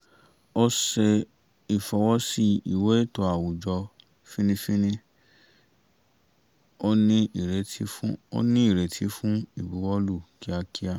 ó ṣe ìfọwọ́ sí ìwé ètò àwùjọ fínnífínní ó ní ìrètí fún ìbuwọ́lù kíákíá